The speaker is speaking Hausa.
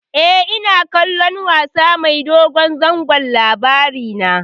E, ina kallon wasa mai dogon zango Labarina.